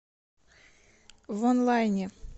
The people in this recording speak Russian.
вонлайне